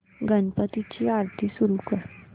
गणपती ची आरती सुरू कर